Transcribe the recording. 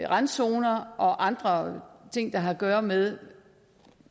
randzoner og andre ting der har at gøre med